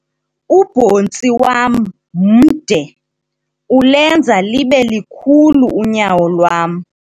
Ubhontsi wam mde ulenza libe likhulu unyawo lwam.